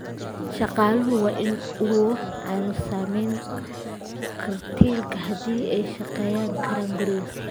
Shaqaaluhu waa in aanu saamayn karantiilka haddii ay ka shaqayn karaan guriga.